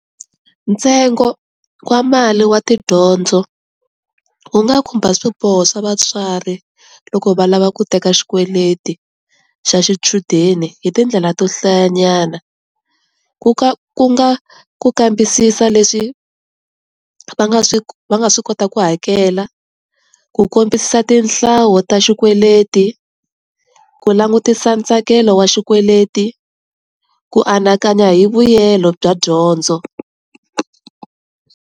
Ntsengo wa mali wa tidyondzo wu nga khumba swiboho swa vatswari loko va lava ku teka xikweleti xa xichudeni hi tindlela to hlayanyana, ku ka ku nga ku kambisisa leswi va nga swi va nga swi kota ku hakela, ku kombisa tihlawo ta xikweleti, ku langutisa ntsakelo wa xikweleti, ku anakanya hi vuyelo bya dyondzo.